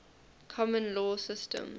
common law systems